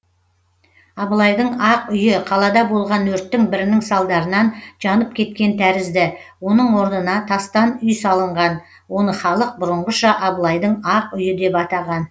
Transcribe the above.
абылайдың ақ үйі қалада болған өрттің бірінің салдарынан жанып кеткен тәрізді оның орнына тастан үй салынған оны халық бұрынғыша абылайдың ақ үйі деп атаған